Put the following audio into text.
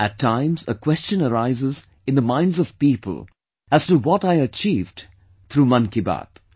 At times a question arises in the minds of people's as to what I achieved through Mann Ki Baat